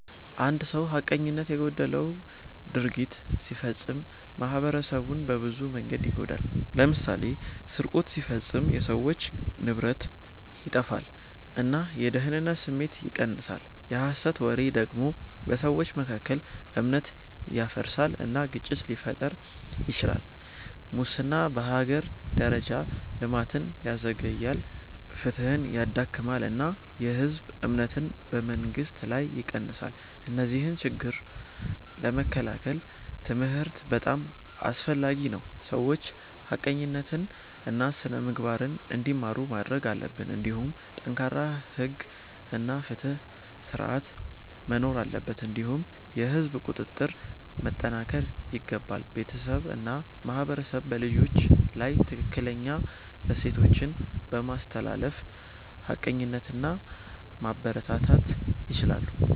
አንድ ሰው ሐቀኝነት የጎደለው ድርጊት ሲፈጽም ማኅበረሰቡን በብዙ መንገዶች ይጎዳል። ለምሳሌ ስርቆት ሲፈጸም የሰዎች ንብረት ይጠፋል እና የደህንነት ስሜት ይቀንሳል። የሐሰት ወሬ ደግሞ በሰዎች መካከል እምነት ያፈርሳል እና ግጭት ሊፈጥር ይችላል። ሙስና በሀገር ደረጃ ልማትን ያዘግያል፣ ፍትሕን ያዳክማል እና የህዝብ እምነትን በመንግስት ላይ ይቀንሳል። እነዚህን ችግኝ ለመከላከል ትምህርት በጣም አስፈላጊ ነው፤ ሰዎች ሐቀኝነትን እና ስነ-ምግባርን እንዲማሩ ማድረግ አለበት። እንዲሁም ጠንካራ ሕግ እና ፍትሕ ስርዓት መኖር አለበት እንዲሁም የህዝብ ቁጥጥር መጠናከር ይገባል። ቤተሰብ እና ማህበረሰብ በልጆች ላይ ትክክለኛ እሴቶችን በማስተላለፍ ሐቀኝነትን ማበረታታት ይችላሉ።